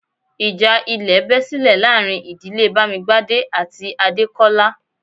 Ìjà ilẹ̀ bẹ́ silẹ̀ láàrin ìdílé Bamigbade àti Adekola